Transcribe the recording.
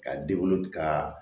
Ka ka